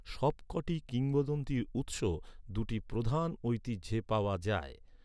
সবকটি কিংবদন্তির উৎস, দু’টি প্রধান ঐতিহ্যে পাওয়া যায়।